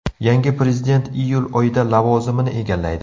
Yangi prezident iyul oyida lavozimini egallaydi.